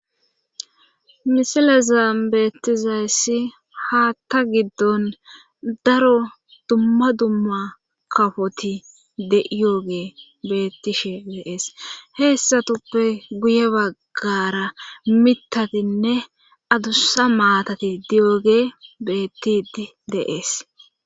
Misile zaambeettizayyssi haatta giddon daro dumma dumma kafoti de7iyooge beettishe deees heessatuppe guye baggara mitatinne adussa maatati diyoge beettidi deees.